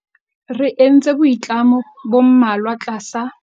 Re entse boitlamo bo mmalwa tlasa.